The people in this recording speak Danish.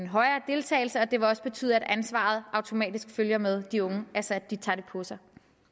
højere deltagelse og det vil også betyde at ansvaret automatisk følger med de unge altså at de tager det på sig